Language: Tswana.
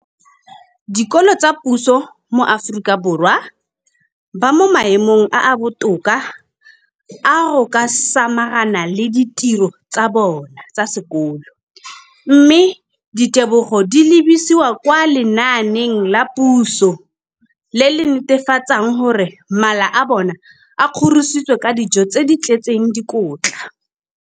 Dikolo tsa puso mo Aforika Borwa ba mo maemong a a botoka a go ka samagana le ditiro tsa bona tsa sekolo, mme ditebogo di lebisiwa kwa lenaaneng la puso le le netefatsang gore mala a bona a kgorisitswe ka dijo tse di tletseng dikotla.